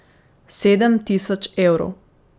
Sedem tisoč evrov ...